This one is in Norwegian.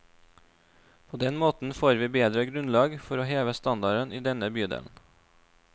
På den måten får vi bedre grunnlag for å heve standarden i denne bydelen.